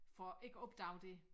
For ikke at opdage det